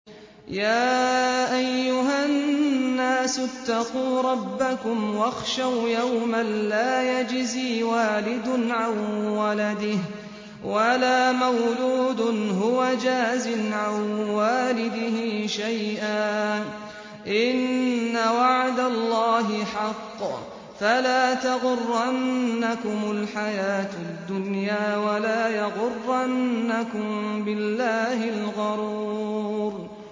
يَا أَيُّهَا النَّاسُ اتَّقُوا رَبَّكُمْ وَاخْشَوْا يَوْمًا لَّا يَجْزِي وَالِدٌ عَن وَلَدِهِ وَلَا مَوْلُودٌ هُوَ جَازٍ عَن وَالِدِهِ شَيْئًا ۚ إِنَّ وَعْدَ اللَّهِ حَقٌّ ۖ فَلَا تَغُرَّنَّكُمُ الْحَيَاةُ الدُّنْيَا وَلَا يَغُرَّنَّكُم بِاللَّهِ الْغَرُورُ